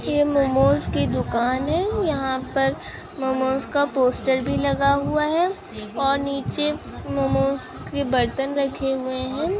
ये मोमोज की दुकान है यहाँ पर मोमोज का पोस्टर भी लगा हुआ है और निचे मोमोज के बर्तन रखे हुए है।